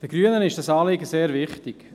Den Grünen ist dieses Anliegen sehr wichtig.